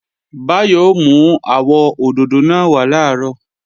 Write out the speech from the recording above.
Báyọ̀ ó mú àwọ òdòdó náà wá làárọ̀